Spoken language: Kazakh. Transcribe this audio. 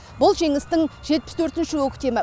бұл жеңістің жетпіс төртінші көктемі